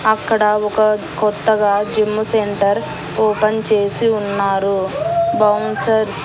అక్కడ ఒక కొత్తగా జిమ్ సెంటర్ ఓపెన్ చేసి ఉన్నారు బౌన్సర్స్ .